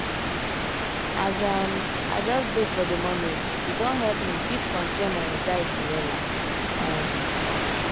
as um i just dey for di momente don help me fit control my anxiety wella. um